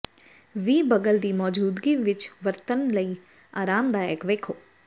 ਵੀ ਬਗਲ ਦੀ ਮੌਜੂਦਗੀ ਵਿੱਚ ਵਰਤਣ ਲਈ ਆਰਾਮਦਾਇਕ ਵੇਖੋ